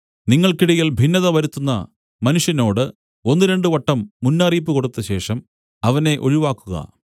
നിങ്ങൾക്കിടയിൽ ഭിന്നത വരുത്തുന്ന മനുഷ്യനോട് ഒന്നുരണ്ട് വട്ടം മുന്നറിയിപ്പ് കൊടുത്തശേഷം അവനെ ഒഴിവാക്കുക